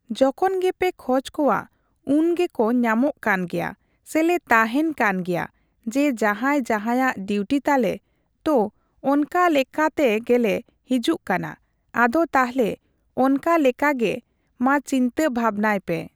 ᱡᱚᱠᱷᱚᱱ ᱜᱮᱯᱮ ᱠᱷᱚᱡ ᱠᱚᱣᱟ ᱩᱱᱜᱮ ᱠᱚ ᱧᱟᱢᱚᱜ ᱠᱟᱱᱜᱮᱭᱟ ᱥᱮ ᱞᱮ ᱛᱟᱸᱦᱮᱱ ᱠᱟᱱ ᱜᱮᱭᱟ ᱡᱮ ᱡᱟᱸᱦᱟᱭ ᱡᱟᱦᱟᱭᱟᱜ ᱰᱤᱣᱴᱤ ᱛᱟᱞᱮ ᱛᱳ ᱚᱱᱠᱟ ᱞᱮᱠᱟᱛᱮ ᱜᱮᱞᱮ ᱦᱤᱡᱩᱜ ᱠᱟᱱᱟ ᱟᱫᱚ ᱛᱟᱦᱞᱮ ᱚᱱᱠᱟᱞᱮᱠᱟ ᱜᱮ ᱢᱟ ᱪᱤᱱᱛᱟᱹ ᱵᱷᱟᱵᱱᱟᱭᱯᱮ᱾